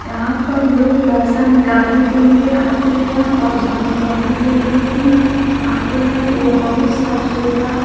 यहां पर लोग पैसा निकालने के लिए आते हैं और जमा करने के लिए भी आते हैं ये बहुत साफ सुथरा--